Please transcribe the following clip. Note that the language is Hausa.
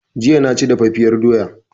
Jiya na ci daffafiyar doya